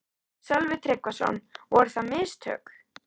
Sölvi Tryggvason: Voru það mistök?